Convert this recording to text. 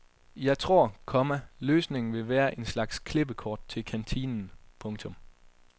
Jeg tror, komma løsningen ville være en slags klippekort til kantinen. punktum